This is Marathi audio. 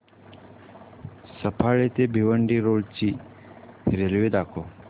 सफाळे ते भिवंडी रोड ची रेल्वे दाखव